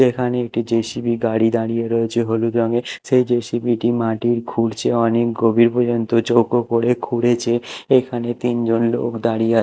এখানে একটি জে_সি_বি গাড়ি দাঁড়িয়ে রয়েছে হলুদ রঙের সেই জে_সি_বি -টি মাটির খুঁড়ছে অনেক গভীর পর্যন্ত চৌকো করে খুঁড়েছে এখানে তিনজন লোক দাঁড়িয়ে আ--